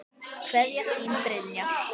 Kveðja, þín Brynja.